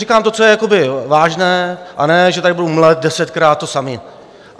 říkám to, co je vážné, a ne že tady budu mlít desetkrát to samé.